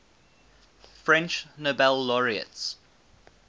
french nobel laureates